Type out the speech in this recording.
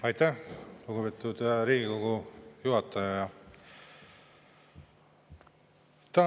Aitäh, lugupeetud Riigikogu juhataja!